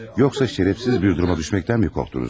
Yoxsa şərəfsiz bir duruma düşməkdənmi qorxdunuz?